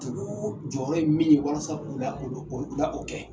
Tugu jɔyɔrɔ in min walasa u la o u la o kɛ